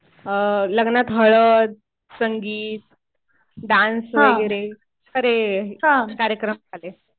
लग्नात हळद, संगीत, डान्स वगैरे असे कार्यक्रम झाले.